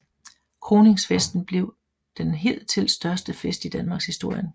Kroningsfesten blev den hidtil største fest i Danmarkshistorien